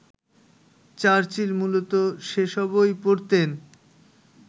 Churchill মূলত সেসবই পড়তেন